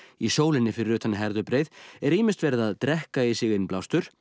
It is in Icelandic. í sólinni fyrir utan Herðubreið er ýmist verið að drekka í sig innblástur